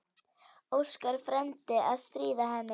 Óskar frændi að stríða henni.